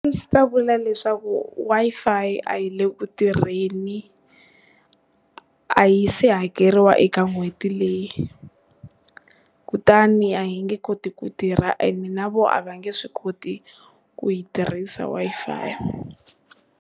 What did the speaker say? Ndzi ta vula leswaku Wi-fi a yi le ku tirheni a yi se hakeriwa eka n'hweti leyi, kutani a yi nge koti ku tirha and na vona a va nge swi koti ku yi tirhisa wi-Fi.